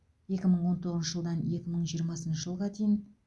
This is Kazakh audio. екі мың он тоғызыншы жылдан екі мың жиырмасыншы жылға дейін